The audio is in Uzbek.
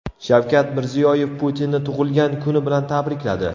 Shavkat Mirziyoyev Putinni tug‘ilgan kuni bilan tabrikladi.